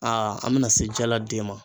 A an bɛna se jala den ma.